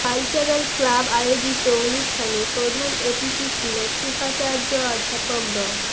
cultural club আয়োজিত অনুষ্ঠানে প্রধান অতিথি ছিলেন উপাচার্য অধ্যাপক ড